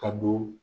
Ka don